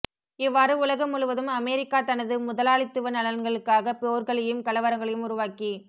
இவ்வாறு உலகம் முழுவதும் அமெரிக்கா தனது முதலாளித்துவ நலன்களுக்காக போர்களையும் கலவரங்களையும் உருவாக்கி